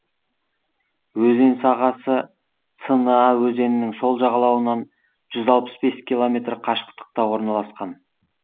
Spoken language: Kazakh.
өзен сағасы цна өзенінің сол жағалауынан жүз алпыс бес километр қашықтықта орналасқан